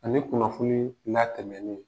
Ale kunnafoni latɛmɛni